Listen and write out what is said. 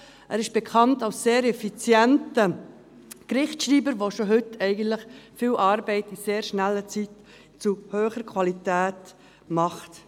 Er ist als sehr effizienter Gerichtsschreiber bekannt, der eigentlich schon heute viel Arbeit in sehr kurzer Zeit zu hoher Qualität macht.